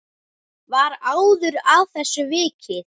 Var áður að þessu vikið.